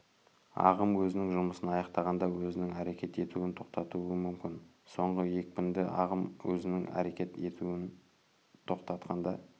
ағым өзінің жұмысын аяқтағанда өзінің әрекет етуін тоқтатуы мүмкін соңғы екпінді ағым өзінің әрекет етуін тоқтатқанда